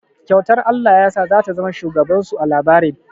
Kyautar Allah yasa za ta zama shugaban su a labarin.